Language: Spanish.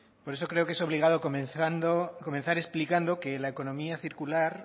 por eso creo que es obligado comenzar explicando que la economía circular